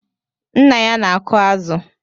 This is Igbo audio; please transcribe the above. Nna ya na-aku azụ